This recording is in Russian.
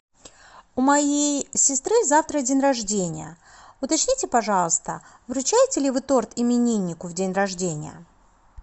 у моей сестры завтра день рождения уточните пожалуйста вручаете ли вы торт имениннику в день рождения